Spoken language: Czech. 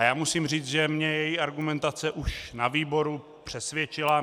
A já musím říct, že mě její argumentace už na výboru přesvědčila.